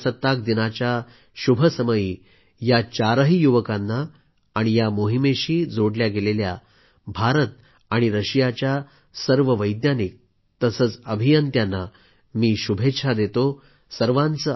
आज प्रजासत्ताक दिनाच्या शुभसमयी या चारही युवकांना आणि या मोहिमेशी जोडले गेलेले भारत आणि रशियाच्या सर्व वैज्ञानिक तसेच अभियंत्यांना मी शुभेच्छा देतो